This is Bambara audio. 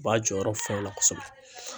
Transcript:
B'a jɔyɔrɔ fa o la kosɛbɛ